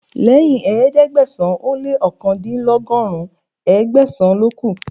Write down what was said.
Lẹ́yìn ẹ̀ẹ́dẹ́gbẹ̀sán ó lé òkàndínlọ́gọ́rùn, Ẹgbẹ̀sàn ló kù